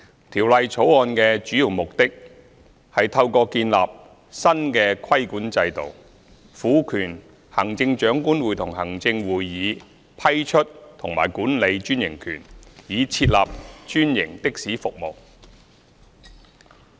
《條例草案》的主要目的，是透過建立新的規管制度，賦權行政長官會同行政會議批出和管理專營權，以設立專營的士服務。